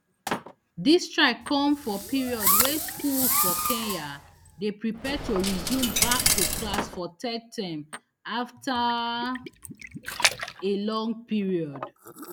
dis strike dey come for period wey schools for kenya dey prepare to resume back to class for third term afta a long period